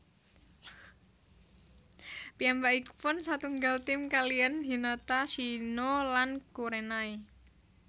Piyambakipun satunggal tim kaliyan Hinata Shino lan Kurenai